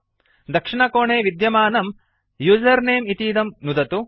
दक्षिणकोणे विद्यमानं उसेर्नमे इतीदं नुदतु